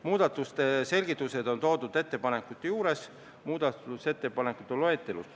Muudatuste selgitused on toodud ettepanekute juures muudatusettepanekute loetelus.